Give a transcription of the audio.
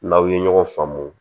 N'aw ye ɲɔgɔn faamu